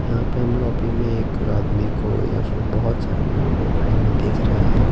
यहाँ पे हम लॉबी में एक आदमी को या फिर बहुत सारे लोगों को खड़े हुए देख रहे हैं।